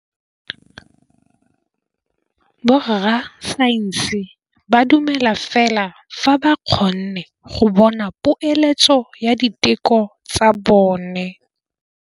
Borra saense ba dumela fela fa ba kgonne go bona poeletsô ya diteko tsa bone.